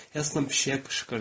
Helston pişiyə qışqırdı.